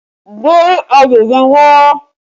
Gbe ayọ̀ yẹn wá!